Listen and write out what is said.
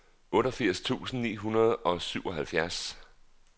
otteogfirs tusind ni hundrede og syvoghalvfjerds